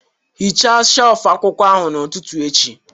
Hichaa shelf akwụkwọ ahụ n'ụtụtụ echi